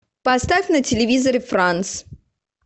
поставь на телевизоре франс